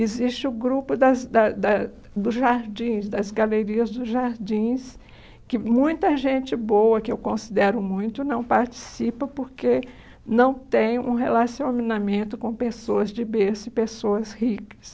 Existe o grupo das da da dos jardins, das galerias dos jardins, que muita gente boa, que eu considero muito, não participa porque não tem um relacionamento com pessoas de berço e pessoas ricas.